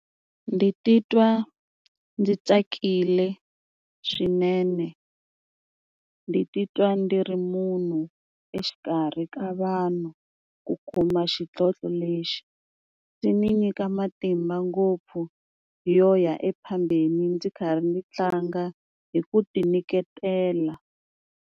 Ndzi titwa ndzi tsakile swinene, ndi titwa ndi ri munhu exikarhi ka vanhu ku kuma xidlodlo lexi ndzi ni nyika matimba ngopfu yo ya e phambili ndzi karhi ndzi tlanga hi ku ti nyiketela.